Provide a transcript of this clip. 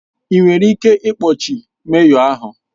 Enwere ike ikpọchi meyọ, ahụ